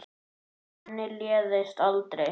Manni leiðist aldrei.